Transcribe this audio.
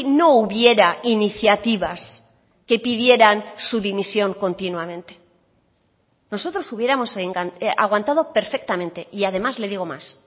no hubiera iniciativas que pidieran su dimisión continuamente nosotros hubiéramos aguantado perfectamente y además le digo más